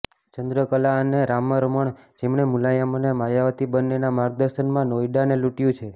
ચંદ્રકલા અને રામરમણ જેમણે મુલાયમ અને માયાવતી બંનેના માર્ગદર્શનમાં નોઈડાને લૂંટ્યુ છે